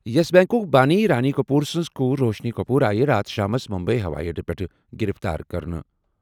یسَ بیٚنٛکُک بٲنی رانا کٔپوٗر سٕنٛز کوٗر روشنی کٔپوٗر آیہِ راتھ شامَس مٗمبیی ہوٲیی اڈَس پٮ۪ٹھ گِرِفتار کرنہٕ۔